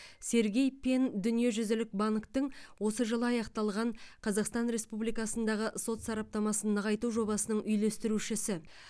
сергей пен дүниежүзілік банктің осы жылы аяқталған қазақстан республикасындағы сот сараптамасын нығайту жобасының үйлестірушісі